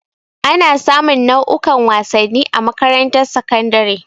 Ana sa mun nau'ukan wasanni a makarantar sakandare.